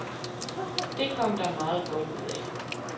Det kom der meget godt ud af.